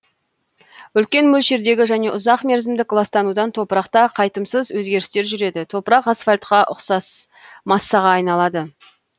үлкен мөлшердегі және ұзак мерзімдік ластанудан топырақта қайтымсыз өзгерістер жүреді топырақ асфальтқа ұқсас массаға айналады